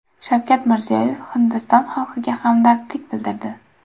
Shavkat Mirziyoyev Hindiston xalqiga hamdardlik bildirdi.